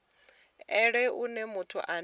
elelwe u nea muthu ane